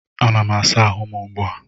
Anam asa ahụ m ugbu a